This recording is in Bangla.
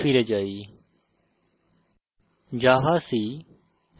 terminal ফিরে যাই